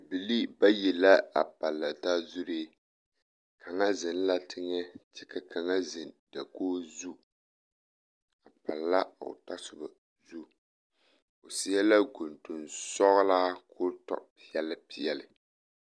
Bibilii bayi la a palla taa zuree kaŋa zeŋ la teŋɛ kyɛ ka kaŋa zeŋ dakogi zu a palla o tasoba zu o seɛ la gontonsɔglaa k,o tɔ peɛle peɛle.